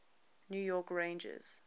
new york rangers